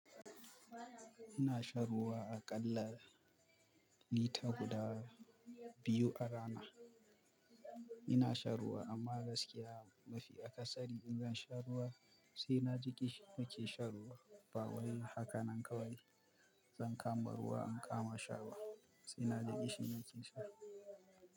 Ina shan ruwa aƙalla lita guda biyu a rana. Ina shan ruwa amma gaskiya mafi akasari in zan sha ruwa sai na ji kishi nake shan ruwa. Bawai haka nan kawai, zan kama ruwa in kama sha ba sai na ji kishi nake sha.